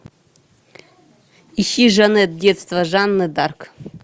ищи жаннетт детство жанны д арк